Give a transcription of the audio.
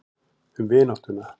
Um vináttuna.